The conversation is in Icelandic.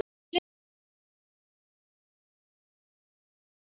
Gleymdi því bara.